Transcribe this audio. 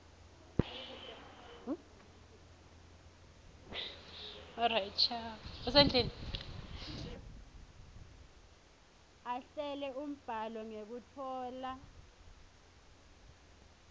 ahlele umbhalo ngekutfola